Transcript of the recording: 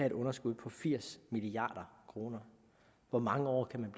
et underskud på firs milliard kroner hvor mange år kan man